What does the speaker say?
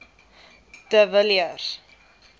de villiers